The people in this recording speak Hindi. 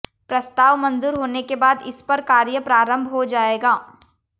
प्रस्ताव मंजूर होने के बाद इस पर कार्य प्रारंभ हो जाएगा